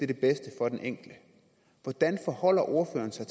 det bedste for den enkelte hvordan forholder ordføreren sig